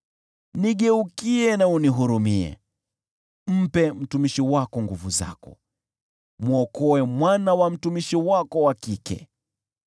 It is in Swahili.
Nigeukie na unihurumie; mpe mtumishi wako nguvu zako, mwokoe mwana wa mtumishi wako wa kike.